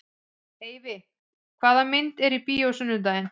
Eyfi, hvaða myndir eru í bíó á sunnudaginn?